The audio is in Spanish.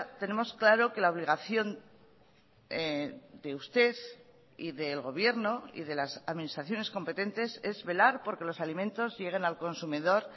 tenemos claro que la obligación de usted y del gobierno y de las administraciones competentes es velar porque los alimentos lleguen al consumidor